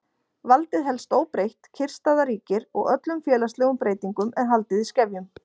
Valdið helst óbreytt, kyrrstaða ríkir og öllum félagslegum breytingum er haldið í skefjum.